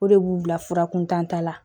O de b'u bila fura kuntan ta la